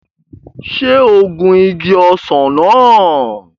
Ṣé o gun igi ọsàn náà?